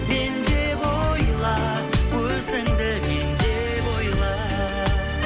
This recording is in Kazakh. мен деп ойла өзіңді мен деп ойла